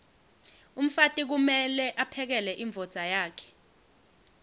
umfati kumeke aphekele imdvodza yakhe